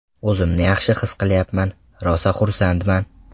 O‘zimni yaxshi his qilyapman, rosa xursandman.